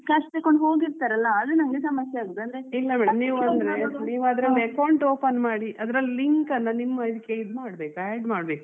ಅವ್ರು cash ತಕೊಂಡು ಹೋಗಿರ್ತಾರಲ್ವಾ ಅದು ನಮ್ಗೆ ಸಮಸ್ಯೆ ಆಗುದು